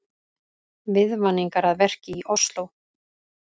Viðvaningar að verki í Ósló